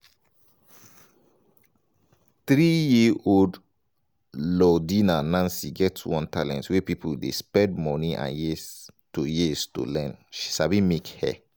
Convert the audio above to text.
three-year-old lordina nancy get one talent wey pipo dey spend money and years to years to learn she sabi make hair.